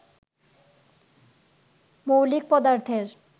মৌলিক পদার্থের